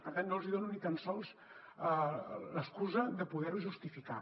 per tant no els hi dono ni tan sols l’excusa de poder ho justificar